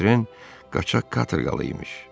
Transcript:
Votren qaçaq katerqalı imiş.